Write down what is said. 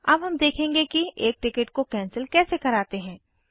अब हम देखेंगे कि एक टिकट को कैंसिल कैसे कराते हैं